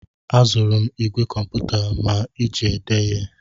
Azụrụ m ìgwè kọmputa m ji ede ihe.